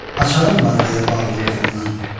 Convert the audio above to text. Açarım var deyə bağlı qıfılına.